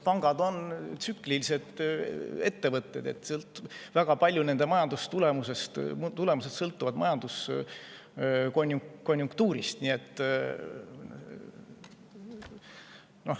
Pangad on tsüklilise ettevõtted, nende majandustulemused sõltuvad väga palju majanduskonjunktuurist.